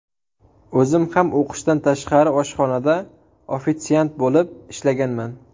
O‘zim ham o‘qishdan tashqari oshxonada ofitsiant bo‘lib ishlaganman.